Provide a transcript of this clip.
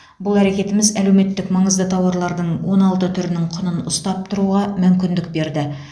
бұл әрекетіміз әлеуметтік маңызды тауарлардың он алты түрінің құнын ұстап тұруға мүмкіндік берді